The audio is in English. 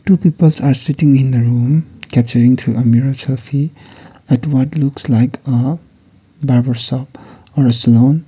two peoples are sitting in a rooms capturing through a mirror selfie at what looks like a barber shop or a salon.